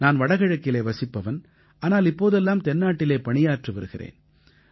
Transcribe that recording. நான் வடகிழக்கிலே வசிப்பவன் ஆனால் இப்போதெல்லாம் தென்னாட்டிலே பணியாற்றி வருகிறேன்